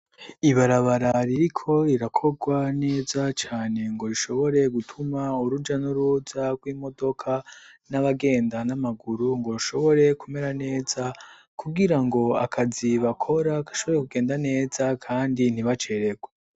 Ibarabara ririko rirakorwa neza cane ngo rishobore gutuma uruja n'uruza rw'imodoka n'abagenda n'amaguru ngo bishobore kumera neza, kugira ngo akazi bakora gashobore kugenda neza kandi ntibaceregwe.